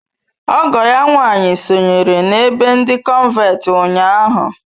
Ọgọ ya nwanyị sonyere n’ebe ndi cọnventi ụnyahụ.